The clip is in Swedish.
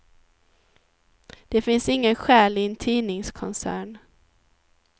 Det finns ingen själ i en tidningskoncern.